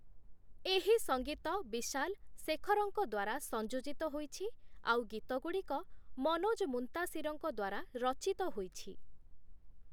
ଏହି ସଙ୍ଗୀତ ବିଶାଲ-ଶେଖରଙ୍କ ଦ୍ଵାରା ସଂଯୋଜିତ ହୋଇଛି, ଆଉ ଗୀତଗୁଡ଼ିକ ମନୋଜ ମୁନ୍ତାଶିରଙ୍କ ଦ୍ଵାରା ରଚିତ ହୋଇଛି ।